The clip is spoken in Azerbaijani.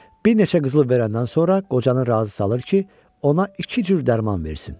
Bir neçə qızıl verəndən sonra qocanı razı salır ki, ona iki cür dərman versin.